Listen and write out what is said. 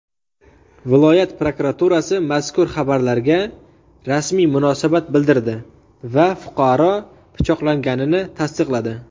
Viloyat prokuraturasi mazkur xabarlarga rasmiy munosabat bildirdi va fuqaro pichoqlanganini tasdiqladi.